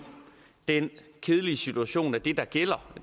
den kedelige situation at det der gælder